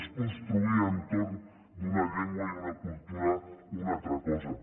és construir entorn d’una llengua i una cultura una altra cosa